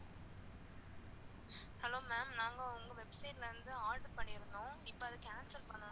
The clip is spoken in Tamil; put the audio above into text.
hello ma'am நாங்க உங்க website ல இருந்து order பண்ணிருந்தோம், இப்போ அத cancel பண்ணனும்